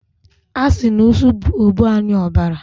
asi na usu bu ogbuanuobara